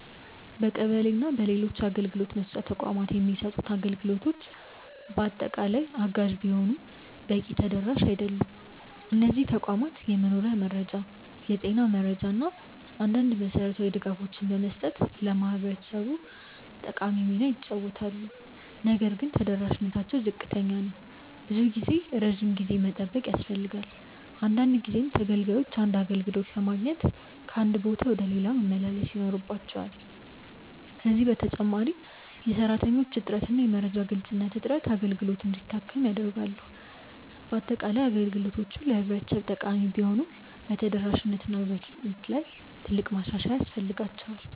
በቀበሌ እና በሌሎች አገልግሎት መስጫ ተቋማት የሚሰጡት አገልግሎቶች በአጠቃላይ አጋዥ ቢሆኑም በቂ ተደራሽ አይደሉም። እነዚህ ተቋማት የመኖሪያ መረጃ፣ የጤና መረጃ እና አንዳንድ መሠረታዊ ድጋፎችን በመስጠት ለህብረተሰቡ ጠቃሚ ሚና ይጫወታሉ። ነገር ግን ተደራሽነታቸው ዝቅተኛ ነው። ብዙ ጊዜ ረጅም ጊዜ መጠበቅ ያስፈልጋል፣ አንዳንድ ጊዜም ተገልጋዮች አንድ አገልግሎት ለማግኘት ከአንድ ቦታ ወደ ሌላ መመላለስ ይኖርባቸዋል። ከዚህ በተጨማሪ የሰራተኞች እጥረት እና የመረጃ ግልጽነት እጥረት አገልግሎቱን እንዲያደክም ያደርጋሉ። በአጠቃላይ፣ አገልግሎቶቹ ለህብረተሰቡ ጠቃሚ ቢሆኑም በተደራሽነት እና በፍጥነት ላይ ትልቅ ማሻሻያ ያስፈልጋቸዋል።